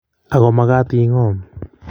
Ago magat ingom